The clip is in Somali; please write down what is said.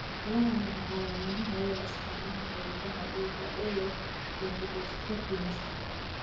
Waa maxay calaamadaha iyo astaamaha xididdada dhiigga ee leh leukodystrophy maskaxda?